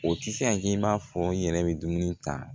O tɛ se kɛ i b'a fɔ i yɛrɛ bɛ dumuni ta